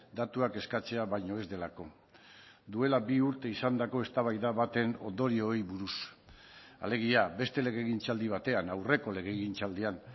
datuak eskatzea baino ez delako duela bi urte izandako eztabaida baten ondorioei buruz alegia beste legegintzaldi batean aurreko legegintzaldian